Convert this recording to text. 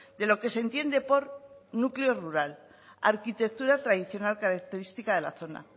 de lo que se entiende por núcleo rural arquitectura tradicional característica de la zona